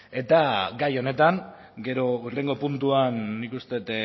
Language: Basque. eta gai honetan gero hurrengo puntuan nik uste dut